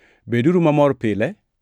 Beduru mamor pile;